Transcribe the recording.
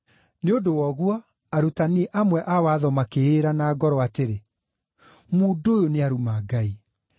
Nĩ ũndũ wa ũguo, arutani amwe a watho makĩĩra na ngoro atĩrĩ, “Mũndũ ũyũ nĩaruma Ngai!”